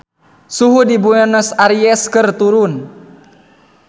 Suhu di Buenos Aires keur turun